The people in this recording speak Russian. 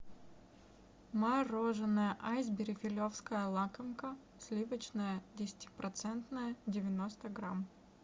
мороженое айсберри филевская лакомка сливочное десятипроцентное девяносто грамм